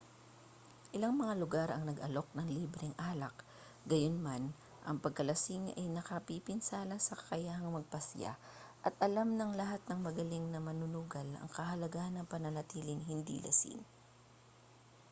ilang mga lugar ang nag-aalok ng libreng alak gayunman ang pagkalasing ay nakapipinsala sa kakayahang magpasiya at alam ng lahat ng magaling na manunugal ang kahalagahan ng pananatiling hindi lasing